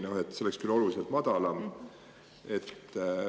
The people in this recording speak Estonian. See peaks olema küll oluliselt madalam.